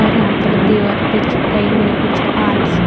और यहां पर दीवार पे चिपकाई हुई कुछ आर्ट्स हैं।